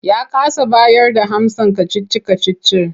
Ya kasa bayarda amsar kacici-kacicin.